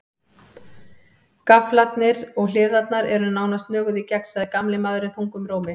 Gaflarnir og hliðarnar eru nánast nöguð í gegn, sagði gamli maðurinn þungum rómi.